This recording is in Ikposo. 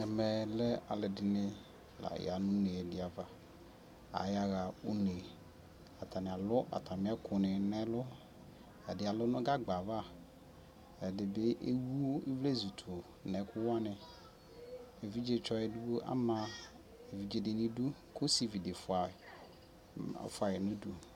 Ɛmɛ lɛ alʋɛdini la ya nʋ une di ava Ayaɣa une Atani alʋ atami ɛkʋ ni n'ɛlʋ Ɛdi alʋ nʋ gagba ava, ɛdi bi ewu ivlezʋ tʋ nʋ ɛkʋwani Evitsɔ edigboi ama evidze di n'idu kʋ osivi di fua yi, ɔfua yi nʋ du